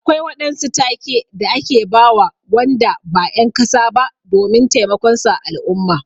Akwai waɗansu take da ake bawa Wanda ba en kasa ba domin taimakon su a al'umma.